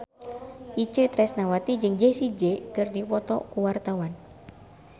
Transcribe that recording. Itje Tresnawati jeung Jessie J keur dipoto ku wartawan